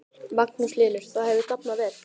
Magnús Hlynur: Það hefur dafnað vel?